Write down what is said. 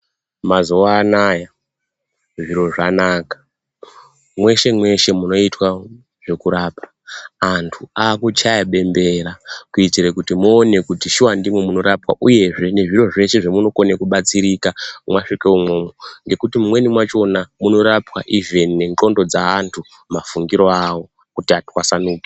Mazuwa anaya zviro zvanaka mweshe -mweshe munoitwa zvekurapa antu aakuchaya bembera kuitire kuti muone kuti shuwa ndimo munorapwa uyezve nezviro zveshe zvemunokone kubatsirika mwasvike umwomwo. Ngekuti mumweni mwachona munorapwa ivhini nendxondo dzeanhu mafungiro awo kuti atwasanuke.